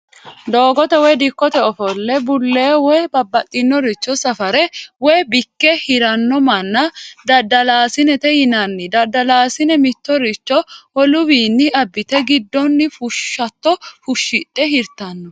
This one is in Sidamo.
Doogote woyi dikkote offole bulee woyi babaxinoricho safare woyi bikke hiranno mana dadalaasinete yinanni dadalasinni mitoricbo woluwiini abite gidonni fushaato fushidhe hiritano